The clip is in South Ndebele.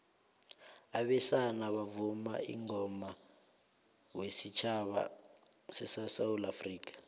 abesana bavuma ingoma wesutjhaba sesewula afrikha